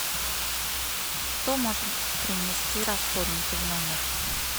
кто может принести расходники в номер